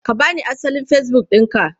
Ka ba ni asalin Facebook ɗinka!